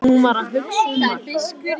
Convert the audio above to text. Hún var að hugsa um Mark.